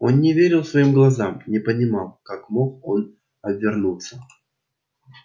он не верил своим глазам не понимал как мог он обернуться